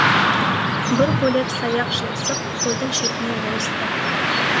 бір бөлек саяқ жылысып көлдің шетіне ойысты